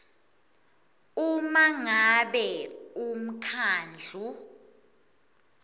uma ngabe umkhandlu